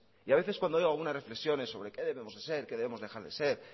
y a veces cuando oigo algunas reflexiones sobre qué debemos de ser qué debemos dejar de ser